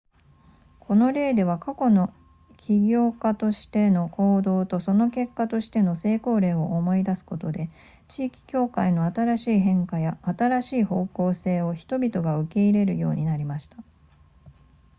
この例では過去の起業家としての行動とその結果としての成功例を思い出すことで地域教会の新しい変化や新しい方向性を人々が受け入れるようになりました